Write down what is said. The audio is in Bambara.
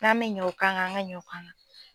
N'an mɛ ɲɛ o kan kan an ka ɲɛ o kan kan.